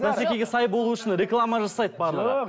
бәсекеге сай болу үшін реклама жасайды барлығы